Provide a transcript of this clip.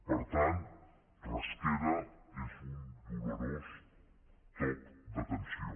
per tant rasquera és un dolorós toc d’atenció